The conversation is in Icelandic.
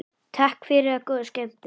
Takk fyrir og góða skemmtun.